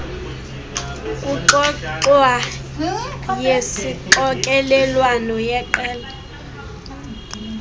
kuxoxwa yesixokelelwano yeqela